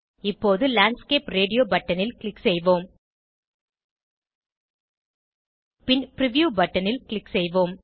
இப்போது landscape radio பட்டனில் click செய்வோம் பின் பிரிவ்யூ பட்டனில் க்ளிக் செய்வோம்